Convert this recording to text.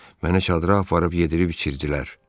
Məni çadıra aparıb yedirib içirtdilər.